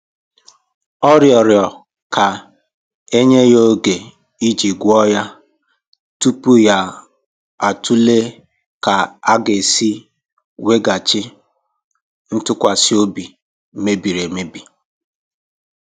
Ọ rịọrọ ka e nye ya oge iji gwọọ ya tupu ya atụle ka a ga-esi weghachi ntụkwasị obi mebiri emebi.